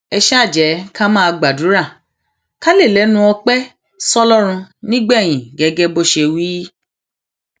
ẹ ṣáà jẹ ká máa gbàdúrà ká lè lẹnu ọpẹ sọlọrun nígbẹyìn gẹgẹ bó ṣe wí